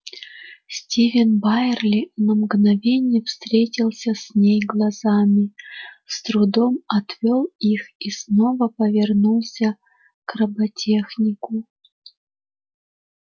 стивен байерли на мгновение встретился с ней глазами с трудом отвёл их и снова повернулся к роботехнику